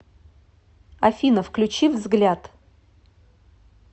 афина включи взгляд